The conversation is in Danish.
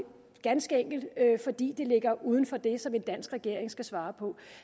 ganske enkelt fordi det ligger uden for det som en dansk regering skal svare på